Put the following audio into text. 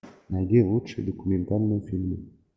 найди лучшие документальные фильмы